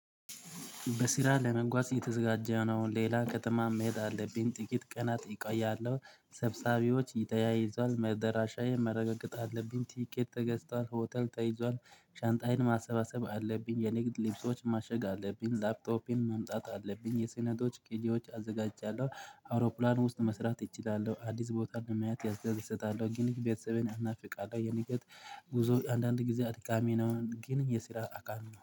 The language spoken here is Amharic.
በስራ ለመጓዝ እየተዘጋጀ ነው እንዴ ይላል ከተማ መሄድ አለብኝ። ጥቂት ቀናት እቆያለው ሰብሳቢዎች ተያይዟል መደራሻዬን ማረጋገጥ አለብኝ። ትኬት ተገዝቷል ሆቴል ተይዟል። ሻንጣዬን ማሰባሰብ አለብኝ። የንግድ ልብሶች ማሸግ አለብኝ። ላፕቶፕን መምጣት አለብኝ። የስነቶች ቄሌዎች አዘጋጃለሁ። አውሮፕላን ውስጥ መስራት እችላለሁ። አዲስ ቦታ እንደማያት ያዝያዝ እሰጣለሁ። ግን የቤተሰቤን አህናፊ ቃላይ የንገት ጉዞ አንዳንድ ጊዜ አድካሚ ነው። ግን የስራ አካል